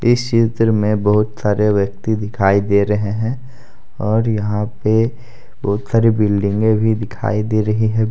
इस चित्र में बहोत सारे व्यक्ति दिखाई दे रहे हैं और यहां पे बहुत सारी बिल्डिंगे भी दिखाई दे रही है।